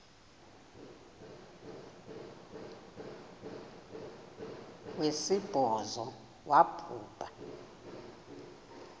wesibhozo wabhu bha